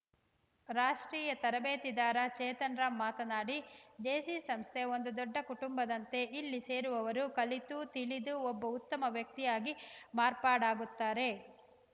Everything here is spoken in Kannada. ರಾಷ್ಟ್ರೀಯ ತರಬೇತಿದಾರ ಚೇತನ್‌ ರಾಮ್‌ ಮಾತನಾಡಿ ಜೆಸಿ ಸಂಸ್ಥೆ ಒಂದು ದೊಡ್ಡ ಕುಟುಂಬದಂತೆ ಇಲ್ಲಿ ಸೇರುವವರು ಕಲಿತು ತಿಳಿದು ಒಬ್ಬ ಉತ್ತಮ ವ್ಯಕ್ತಿಯಾಗಿ ಮಾರ್ಪಾಡಾಗುತ್ತಾರೆ